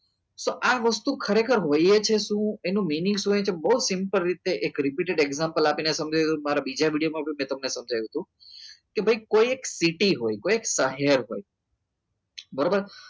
સ આ વસ્તુ ખરેખર હોઈએ છે શું એનું mining શું હોય છે બહુ simple રીત છે એક રેપ્યુ example આપીને સમજાવી દઉં છું મારે બીજા વિડીયોમાં તમને સમજાવી દીધું કે ભાઈ કોઈ એક પેટી હોય કોઈ એક સહાય હોય બરાબર